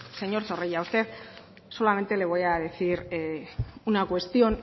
señor zorrilla a usted solamente le voy a decir una cuestión